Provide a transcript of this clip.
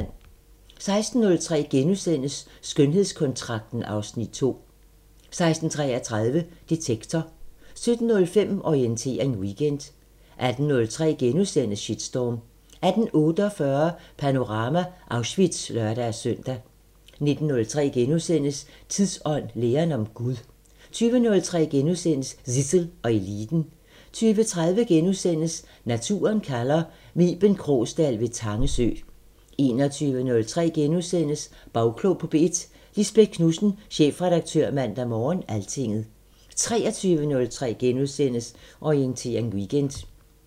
16:03: Skønhedskontrakten (Afs. 2)* 16:33: Detektor 17:05: Orientering Weekend 18:03: Shitstorm * 18:48: Panorama: Auschwitz (lør-søn) 19:03: Tidsånd: læren om Gud * 20:03: Zissel og Eliten * 20:30: Naturen kalder – med Iben Krogsdal ved Tange sø * 21:03: Bagklog på P1: Lisbeth Knudsen, chefredaktør Mandag Morgen/Altinget * 23:03: Orientering Weekend *